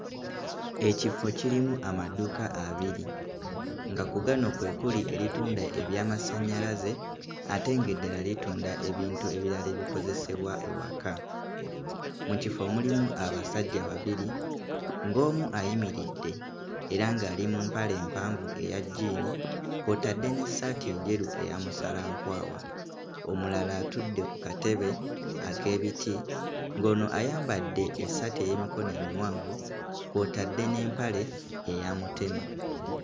Ekifo kirimu amaduuka abiri nga ku gano kwe kuli eritunda eby'amasannyalaze ate nga eddala litunda ebintu ebirala ebikozesebwa ewaka. Mu kifo mulimu abasajja babiri ng'omu ayimiridde era ng'ali mu mapale mpanvu eya jjiini kw'otadde n'essaati enjeru eya musalankwawa omulala atudde kkatebe ak'ebiti ng'ono ayambadde essaati ey'emikono emiwanvu kw'otadde n'empale eya mutema.